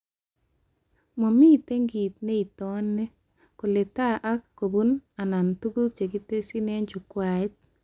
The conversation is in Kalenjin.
Mamite kit neitoni kole taa ak kobun ano tuguk chekitesyi eng chukwait